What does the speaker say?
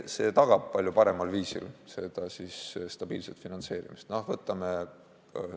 See tagab stabiilse finantseerimise palju paremal viisil.